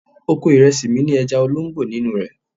Oko ìrẹsì mi ní ẹja olóńgbò nínú rẹ̀.